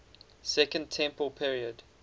second temple period